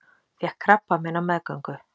Fékk krabbamein á meðgöngu